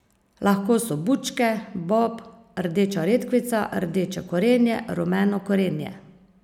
Lahko so bučke, bob, rdeča redkvica, rdeče korenje, rumeno korenje.